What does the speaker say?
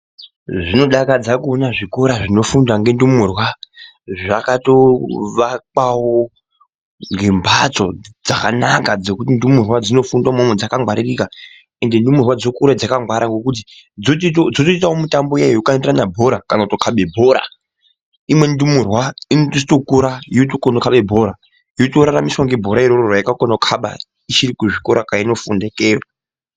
Zvino dakadza kuona zvikora zvino fundwa nge ndumurwa zvakato vakwawo ngembatso dzakanaka dzekuti ndumurwa dzino funda imwomwo dzaka ngwaririka ende ndumurwa dzinokura dzaka ngwara ngekuti dzoto itawo mitambo iya yeku kandirana bhora kana kuto kabe imweni ndumurwa inoto kura yoto kone kukabe bhora yoto raramiswa nge bhora roro rayaka kona kukaba ichiri ku zvikora kwaino funda ikeyo.